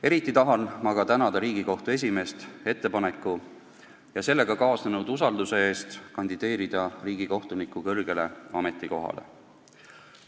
Eriti aga tahan ma tänada Riigikohtu esimeest ettepaneku ja sellega kaasnenud usalduse eest kandideerida riigikohtuniku kõrgele ametikohale.